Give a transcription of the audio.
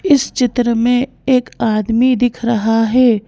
इस चित्र में एक आदमी दिख रहा है ।